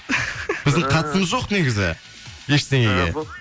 біздің қатысымыз жоқ негізі ештеңеге